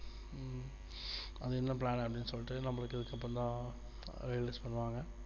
அது என்ன plan அப்படின்னு சொல்லிட்டு நமக்கு இதுக்கப்புறம் தான் release பண்ணுவாங்க